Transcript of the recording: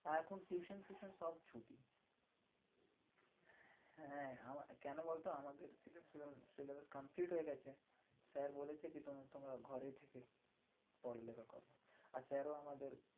এখন tuition ফিউশন সব ছুটি। হ্যাঁ আমার কেন বলতো আমাদের syllabus complete হয়ে গেছে। sir বলেছে কি তুমি তোমরা ঘরে পড়ালেখা করো। আর sir ও আমাদের